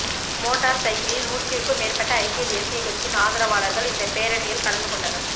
motor சைக்கிளில் நூற்றிற்கும் மேற்பட்ட ஐக்கிய தேசியக் கட்சியின் ஆதரவாளர்கள் இந்த பேரணியில் கலந்து கொண்டனர்